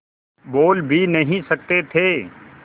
बोल भी नहीं सकते थे